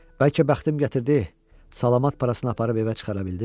Bəlkə bəxtim gətirdi, salamat parasına aparıb evə çıxara bildim.